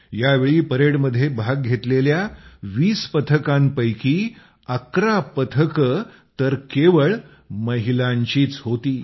या वेळी परेडमध्ये भाग घेतलेल्या 20 पथकांपैकी 11 पथके तर केवळ महिलांचीच होती